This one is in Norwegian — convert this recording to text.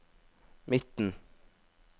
midten